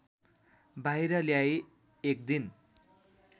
बाहिर ल्याई एकदिन